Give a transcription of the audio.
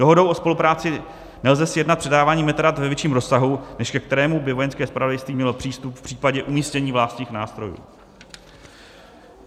Dohodou o spolupráci nelze sjednat předávání metadat ve větším rozsahu, než ke kterému by Vojenské zpravodajství mělo přístup v případě umístění vlastních nástrojů;